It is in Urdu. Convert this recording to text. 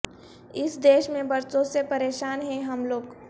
اس دیش میں برسوں سے پریشان ہیں ہم لوگ